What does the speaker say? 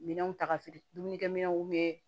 Minɛnw ta ka feere dumunikɛminɛnw bɛ